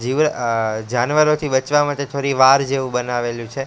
જીવર અહ જાનવરોથી બચવા માટે થોરી વાર જેવુ બનાવેલુ છે.